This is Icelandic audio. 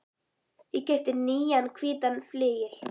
Ég keypti nýjan hvítan flygil.